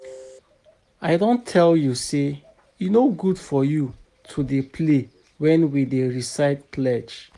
I don tell you say e no good for you to dey play wen we dey recite pledge